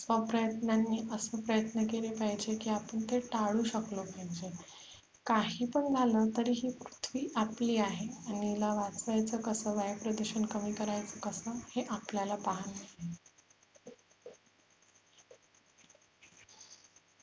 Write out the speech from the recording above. प्रयत्नांनी असे प्रयत्न केले पाहिजेत की आपण ते टाळू शकलो पाहिजे काही पण झालं तरी ही पृथ्वी आपली आहे आणि हिला वाचवायचं कसं वायु प्रदुषण कमी करायचं कसं हे आपल्याला पाहायला